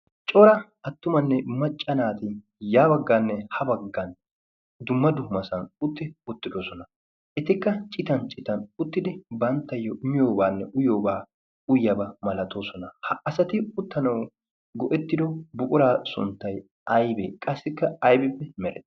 cora attumanne maccanaati yaa baggaanne ha baggan dumma dumasan utti uttidosona etikka citan citan uttidi banttayyo miyoobaanne uyoobaa uyyabaa malatoosona ha asati uttanau go'ettido buquraa sunttay aybee qassikka aybippe merea